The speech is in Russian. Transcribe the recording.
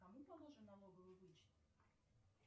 кому положен налоговый вычет